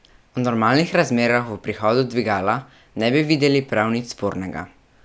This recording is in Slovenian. V normalnih razmerah v prihodu dvigala ne bi videli prav nič spornega.